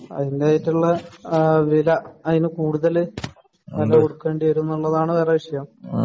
അതിന്റേതായിട്ടുള്ള വില അതിനു കൂടുതൽ കൊടുക്കേണ്ടി വരും എന്നതാണ് വിഷയം